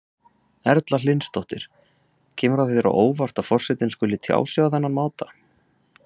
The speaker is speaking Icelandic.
Erla Hlynsdóttir: Kemur það þér á óvart að forsetinn skuli tjá sig á þennan máta?